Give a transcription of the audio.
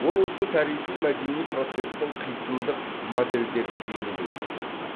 ол осы тарихи мәдени процестің қисындық модельдерін бейнелеуге тырысады